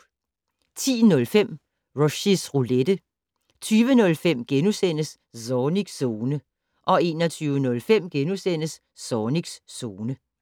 10:05: Rushys Roulette 20:05: Zornigs Zone * 21:05: Zornigs Zone *